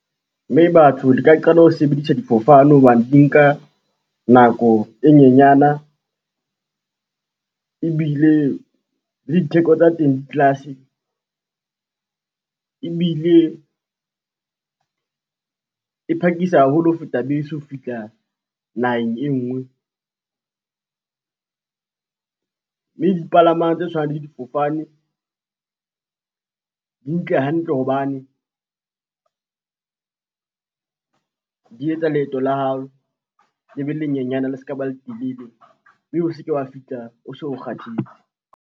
Mme batho re ka qala ho sebedisa difofane hobane di nka nako e nyenyana, ebile le ditheko tsa teng ditlase, ebile e phakisa haholo ho feta bese ho fihla naheng e ngwe. Mme dipalamang tse tshwanang le difofane, di nka hantle hobane, di etsa leeto la hao le be le nyenyana le ska ba le telele mme o seke wa fihla o so kgathetse.